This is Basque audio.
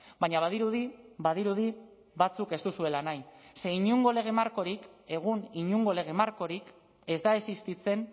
baina badirudi badirudi batzuk ez duzuela nahi ze inongo lege markorik egun inongo lege markorik ez da existitzen